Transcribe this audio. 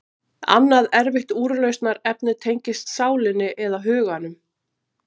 Annað erfitt úrlausnarefni tengist sálinni, eða huganum.